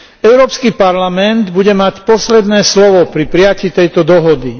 Európsky parlament bude mať posledné slovo pri prijatí tejto dohody.